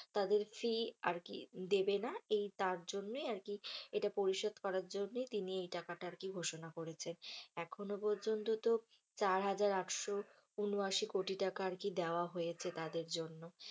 তাদের fees আরকি দেবে না, এই তার জন্যে আরকি এটা পরিশোধ করার জন্যেই তিনি এই টাকাটা ঘোষণা করেছে। এখনও পর্যন্ত তো চার হাজার আটশো ঊন আশি কোটি টাকা আরকি দেওয়া হয়েছে তাদের জন্য।